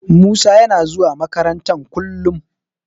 Musa yana zuwa makaranta kullum.